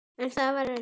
En það var erfitt.